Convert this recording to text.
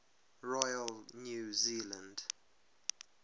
royal new zealand